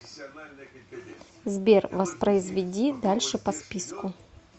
сбер воспроизведи дальше по списку